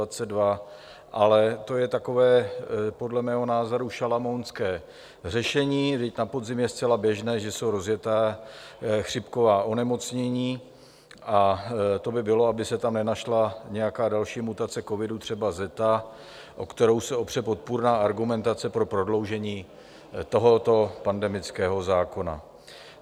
Ale to je takové podle mého názoru šalamounské řešení, vždyť na podzim je zcela běžné, že jsou rozjetá chřipková onemocnění, a to by bylo, aby se tam nenašla nějaká další mutace covidu, třeba zéta, o kterou se opře podpůrná argumentace pro prodloužení tohoto pandemického zákona.